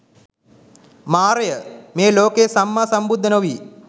මාරය, මේ ලෝකයේ සම්මා සම්බුද්ධ නොවී